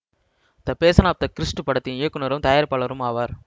the passion of the Christ படத்தின் இயக்குனரும் தயாரிப்பாளரும் ஆவார்